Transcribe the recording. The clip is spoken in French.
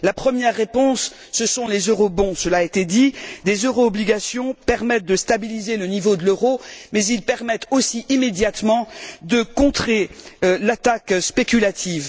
La première réponse ce sont les eurobonds cela a été dit, des euro obligations permettent de stabiliser le niveau de l'euro mais ils permettent aussi, immédiatement, de contrer l'attaque spéculative.